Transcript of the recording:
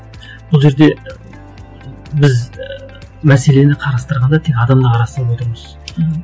бұл жерде біз ііі мәселені қарастырғанда тек адамды қарастырып отырмыз мхм